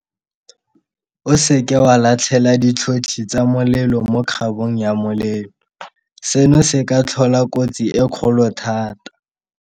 O seke wa latlhela ditlhotlhi tsa molelo mo kgabong ya molelo. Seno se ka tlhola kotsi e kgolo thata.